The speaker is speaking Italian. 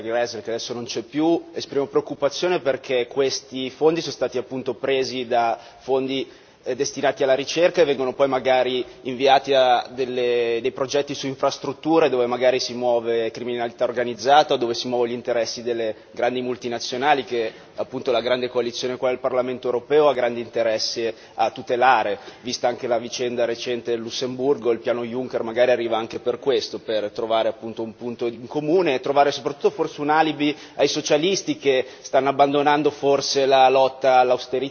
Gräßle, che ha lasciato l'Aula, perché i finanziamenti in questione sono stati appunto presi da fondi destinati alla ricerca e vengono poi, magari, destinati a progetti su infrastrutture, dove magari si muove criminalità organizzata, dove si muovono gli interessi delle grandi multinazionali che, appunto, la grande coalizione del Parlamento europeo ha grande interesse a tutelare, vista anche la vicenda recente del Lussemburgo. Il Piano Juncker magari arriva anche per questo per trovare un punto in comune e trovare soprattutto, forse, un alibi ai socialisti che stanno abbandonando forse la lotta all'austerità.